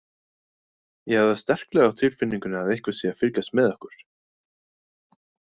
Ég hef það sterklega á tilfinningunni að einhver sé að fylgjast með okkur.